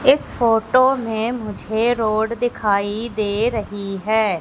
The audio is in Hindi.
इस फोटो में मुझे रोड दिखाई दे रही है।